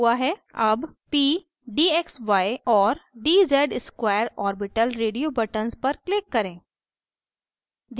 अब p dxy और dz square orbital radio buttons पर click करें